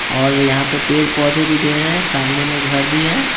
और यहां पे पेड़-पौधे भी ढ़ेर हैं सामने में घर भी है।